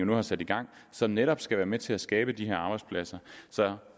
nu har sat i gang som netop skal være med til at skabe de her arbejdspladser så